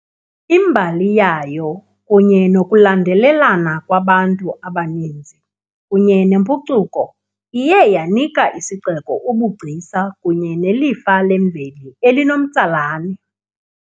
Imbali yayo kunye nokulandelelana kwabantu abaninzi kunye nempucuko iye yanika isixeko ubugcisa kunye nelifa lemveli elinomtsalane